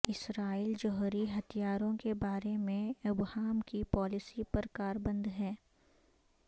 اسرائیل جوہری ہتھیاروں کے بارے میں ابہام کی پالیسی پر کاربند ہے